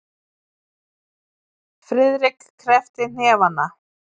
Friðrik kreppti hnefana.